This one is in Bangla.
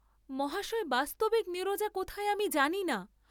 মহাশয় বাস্তবিক নীরজা কোথায় আমি জানি না।